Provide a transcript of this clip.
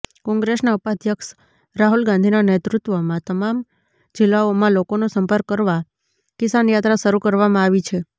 કોંગ્રેસના ઉપાધ્યક્ષ રાહુલ ગાંધીનાં નેતૃત્વમાં તમામ જિલ્લાઓમાં લોકોનો સંપર્ક કરવા કિસાનયાત્રા શરૂ કરવામાં આવી છે